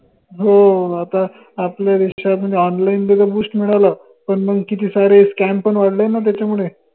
हो आता आपल्या देशामध्ये online मिडाल पन मंग किती सारे scam पन वाढले ना त्याच्यामुडे